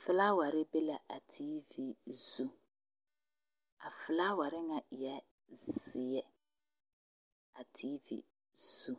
Fulaware be la a TV zu. A fulaware na eɛ zie a TV zu.